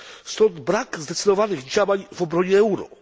Stąd brak zdecydowanych działań w obronie euro.